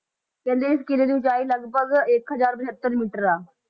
ਕਹਿੰਦੇ ਇਸ ਕਿਲ੍ਹੇ ਦੀ ਉਚਾਈ ਲਗਪਗ ਇੱਕ ਹਜ਼ਾਰ ਬਹੱਤਰ ਮੀਟਰ ਆ।